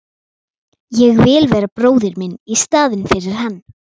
Ég vil vera bróðir minn í staðinn fyrir hann.